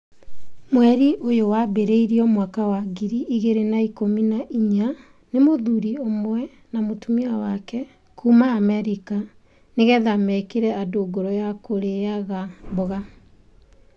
Mweri ũyũ wambĩrĩirio mwaka wa ngiri igiri na ikumi na inya nĩ mũthuri ũmwe na mũtumia wake kuuma Amerika nĩgetha mekĩre andũ ngoro yakũrĩaga mboga.